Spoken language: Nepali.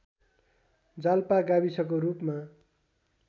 जालपा गाविसको रूपमा